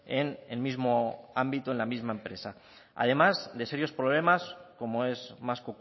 en el mismo ámbito en la misma empresa además de serios problemas como es más